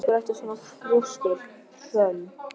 Af hverju ertu svona þrjóskur, Hrönn?